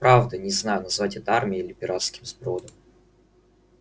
правда не знаю назвать это армией или пиратским сбродом